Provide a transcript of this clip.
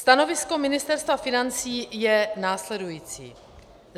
Stanovisko Ministerstva financí je následující.